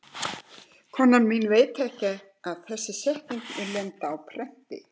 Konan mín veit ekki að þessi setning mun lenda á prenti.